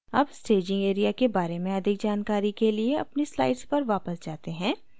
अब staging area के बारे में अधिक जानकारी के लिए अपनी slides पर वापस जाते हैं